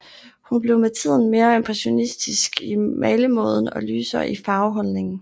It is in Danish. Hun blev med tiden mere impressionistisk i malemåden og lysere i farveholdningen